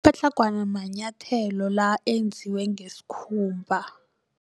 Amapatlagwana manyethelo la enziwe ngesikhumba.